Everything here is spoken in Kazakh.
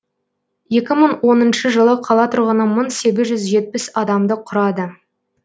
екі мың оныншы жылы қала тұрғыны мың сегіз жүз жетпіс адамды құрады